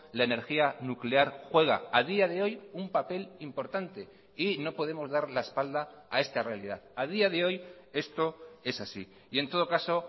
la energía nuclear juega a día de hoy un papel importante y no podemos dar la espalda a esta realidad a día de hoy esto es así y en todo caso